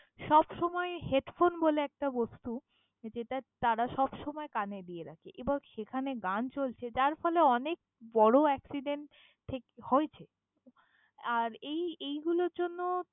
সবসময় headphone বলে একটা বস্তু যেটা তারা সবসময় কানে দিয়ে রাখে এবং সেখানে গান চলছে যার ফলে অনেক বড় accident থেক~ হয়েছে, আর এই এইগুলোর জন্য।